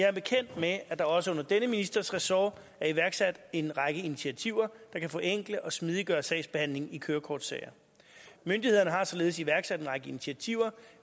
er bekendt med at der også under denne ministers ressort er iværksat en række initiativer der kan forenkle og smidiggøre sagsbehandlingen i kørekortsager myndighederne har således iværksat en række initiativer